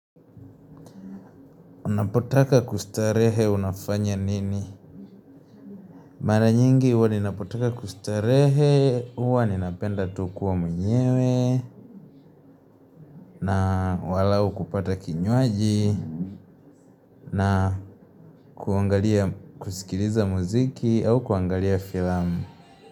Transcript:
Unapotaka kustarehe unafanya nini? Mara nyingi huwa ninapotaka kustarehe, huwa ninapenda tu kuwa mwenyewe, na walahu kupata kinywaji, na kuangalia kusikiliza muziki au kuangalia filamu.